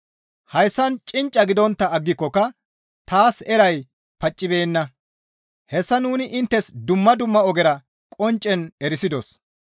Haasayan cincca gidontta aggikokka taas eray paccibeenna; hessa nuni inttes dumma dumma ogera qonccen erisidos.